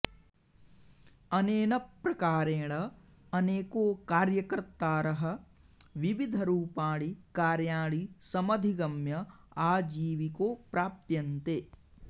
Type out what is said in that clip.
अनेन प्रकारेण अनेको कार्यकर्तारः विविधरूपाणि कार्याणि समधिगम्य आजीविको प्राप्यन्ते